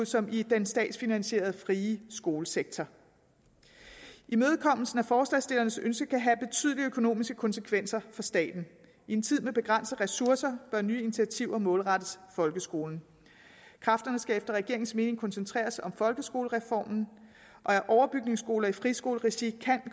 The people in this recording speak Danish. som i den statsfinansierede frie skolesektor imødekommelse af forslagsstillernes ønske kan have betydelige økonomiske konsekvenser for staten i en tid med begrænsede ressourcer bør nye initiativer målrettes folkeskolen kræfterne skal efter regeringens mening koncentreres om folkeskolereformen og overbygningsskoler i friskoleregi kan